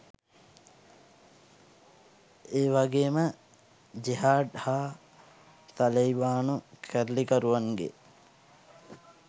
ඒවගේම ජෙහාඩ් හා තලෙයිබානු කැරලිකරුවන්ගේ